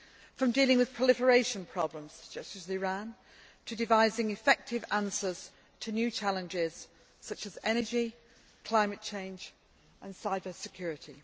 from dealing with proliferation problems such as Iran, to devising effective answers to new' challenges such as energy, climate change and cyber security.